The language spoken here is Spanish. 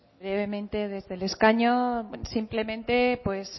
brevemente desde el escaño simplemente pues